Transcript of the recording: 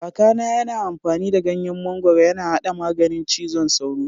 Kaka na yana amfani da ganyen mangoro yana haɗa maganin cizon sauro.